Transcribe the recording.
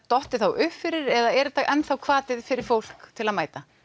dottið uppfyrir eða er þetta enn þá hvati fyrir fólk til að mæta